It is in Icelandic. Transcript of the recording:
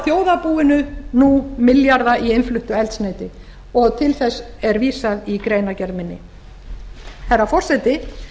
þjóðarbúinu nú milljarða í innfluttu eldsneyti og til þess er vísað í greinargerð minni herra forseti